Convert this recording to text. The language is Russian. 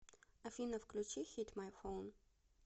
афина включи хит май фоун